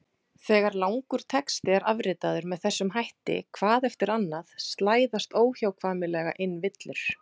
Þegar langur texti er afritaður með þessum hætti hvað eftir annað slæðast óhjákvæmilega inn villur.